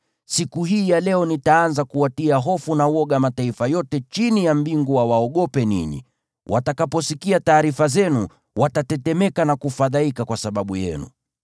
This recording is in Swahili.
Siku hii ya leo nitaanza kuwatia hofu na woga mataifa yote chini ya mbingu wawaogope ninyi. Watakaposikia taarifa zenu, watatetemeka na kufadhaika kwa sababu yenu.”